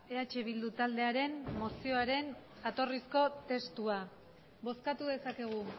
eh bildu taldearen mozioaren jatorrizko testua bozkatu dezakegu